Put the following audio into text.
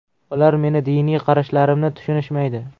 Ular meni diniy qarashlarimni tushunishmaydi.